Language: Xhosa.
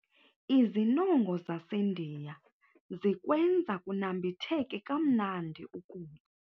Izinongo zaseNdiya zikwenza kunambitheke kamnandi ukutya.